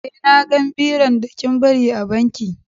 Eh, na gan biron da kin bari a banki.